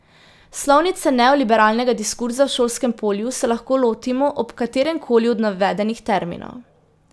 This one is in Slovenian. Slovnice neoliberalnega diskurza v šolskem polju se lahko lotimo ob katerem koli od navedenih terminov.